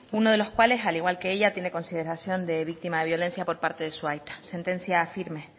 uno de los cuales al igual que ella tiene consideración de víctima de violencia por parte de su aita sentencia firme